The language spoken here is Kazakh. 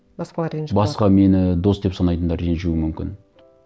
басқалары ренжіп қалады басқа мені дос деп санайтындар ренжуі мүмкін